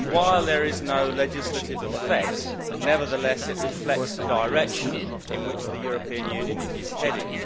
While there is no legislative effect, it nevertheless reflects the direction in which the European Union is heading.